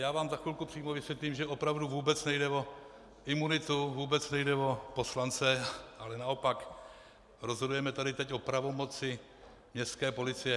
Já vám za chvilku přímo vysvětlím, že opravdu vůbec nejde o imunitu, vůbec nejde o poslance, ale naopak rozhodujeme tady teď o pravomoci městské policie.